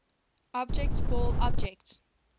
object ball object